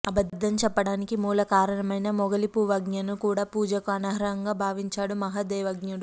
అబద్ధం చెప్పటానికి మూలకారణమైన మొగలిపూవ్ఞను కూడా పూజకు అనర్హంగా భావించాడు మహాదేవ్ఞడు